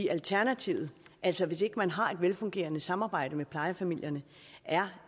alternativet altså hvis ikke man har et velfungerende samarbejde med plejefamilierne er